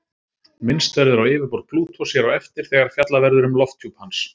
Minnst verður á yfirborð Plútós hér á eftir þegar fjallað verður um lofthjúp hans.